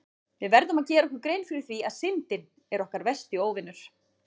Við verðum að gera okkur grein fyrir því að Syndin er okkar versti óvinur!